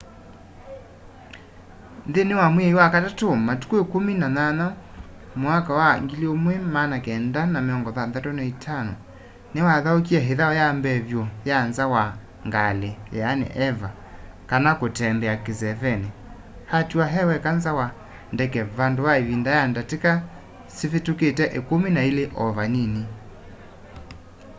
nthĩnĩ wa mwai wa katatũ matukũ 18 1965 nĩwathaũkie ĩthau ya mbee vyũ ya nza wa ngalĩ eva kana kutembea kĩsevenĩ” atiwa e weka nza wa ndeke vandũ va ĩvinda ya ndatĩka sivĩtũkĩte ĩkumi na ilĩ o vanini